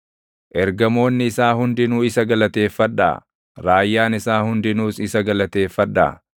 Ergamoonni isaa hundinuu isa galateeffadhaa; raayyaan isaa hundinuus isa galateeffadhaa.